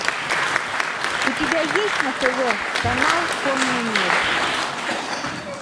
у тебя есть на тв канал конный мир